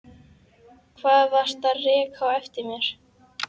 Hvað varstu að reka á eftir mér?